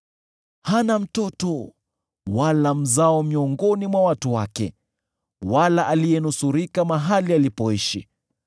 Hana mtoto wala mzao miongoni mwa watu wake, wala aliyenusurika mahali alipoishi.